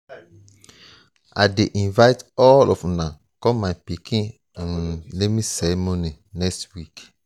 i dey invite all of una come my pikin um naming ceremony next week